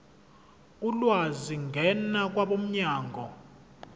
ulwazi ngena kwabomnyango